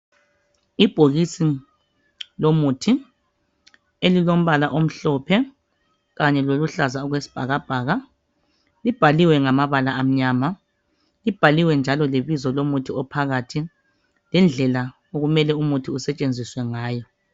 Ibhokisi lomuthi elilompala omhlophe kanye loluhlaza okwesibhakabhaka ibhaliwe ngamabala amnyama ibhaliwe njalo lebizo lomuthi ophakathi lendlela okumele umuthi usetshenziswe ngayo.